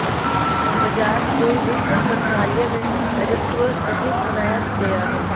बजाज को वित्त मंत्रालय में राजस्व सचिव बनाया गया है